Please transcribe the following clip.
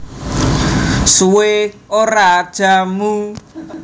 Suwe Ora Jamu